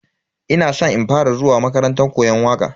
Ina san in fara zuwa makarantar koyon waka.